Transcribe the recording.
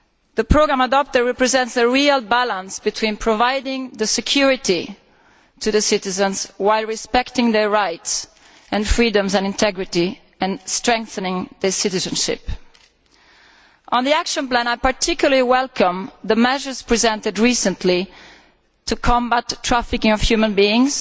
The programme adopted represents a real balance between providing security to citizens while respecting their rights, freedoms and integrity, and strengthening their citizenship. On the action plan, I particularly welcome the measures presented recently to combat trafficking in human beings